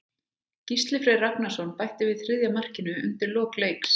Gísli Freyr Ragnarsson bætti við þriðja markinu undir lok leiks.